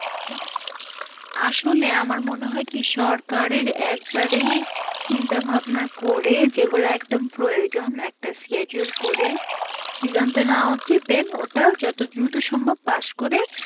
আসলে আমার মনে হয় কি সরকারের একবারেই চিন্তা ভাবনা করে, যেগুলো একদম প্রয়োজন, একটা schedule করে সৃজনটা নেওয়া উচিত, then ওটা যত দ্রুত সম্ভব pass করে